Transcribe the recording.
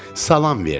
Salam verdim.